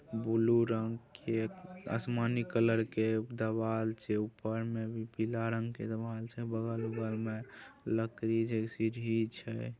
Blue रंग के आसमानी कलर के देवाल छै। ऊपर में भी पीला रंग के देवाल छै बगल वगल में लकड़ी जैसी भी छै।